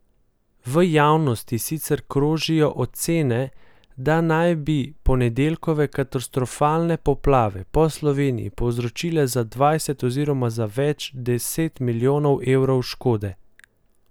V javnosti sicer krožijo ocene, da naj bi ponedeljkove katastrofalne poplave po Sloveniji povzročile za dvajset oziroma za več deset milijonov evrov škode.